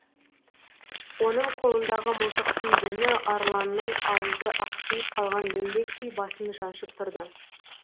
оның қолындағы мылтықтың дүмі арланның аузы ақсиып қалған дөңбектей басын жаншып тұрды